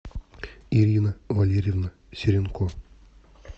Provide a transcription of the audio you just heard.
ирина валерьевна серенко